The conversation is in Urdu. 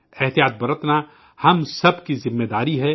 احتیاط برتنا ہم سب کی ذمہ داری ہے